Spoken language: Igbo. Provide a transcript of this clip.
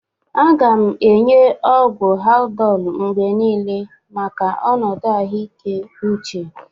A ga na enye ọgwụ Haldolu mgbe niile maka ọnọdụ ahụike uche.